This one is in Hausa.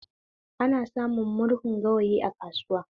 Ana samun murhun gawayi a kasuwa